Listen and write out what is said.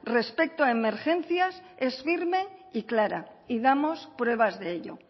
respecto a emergencias es firme y clara y damos pruebas de ello